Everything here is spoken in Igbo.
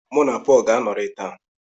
Mụ na Pọl ga-anọrị taa.